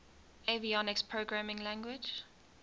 avionics programming language